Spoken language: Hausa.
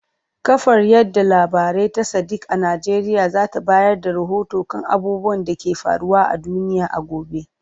Kafar yada labarai ta Sadiq a Najeriya za ta bayar da rahoto kan abubuwan da ke faruwa a duniya a gobe.